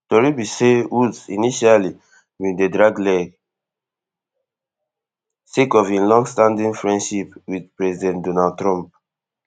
tori be say woods initially bin dey drag leg sake of im longstanding friendship wit president donald trump